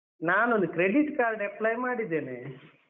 ನಾನೊಂದು Credit Card apply ಮಾಡಿದ್ದೇನೆ.